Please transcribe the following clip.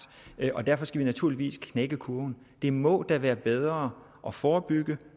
og derfor skal vi naturligvis knække kurven det må da være bedre at forebygge